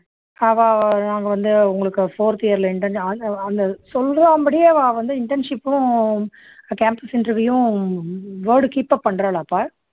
அவா நாங்க வந்து உங்களுக்கு fourth year ல அ அ அந்த சொல்லுவாம்படி அவா வந்து internship உம் campus interview உம் word keep up பண்றாலா பா